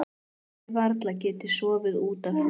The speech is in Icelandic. Hafi varla getað sofið út af því.